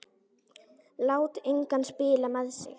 Lét engan spila með sig.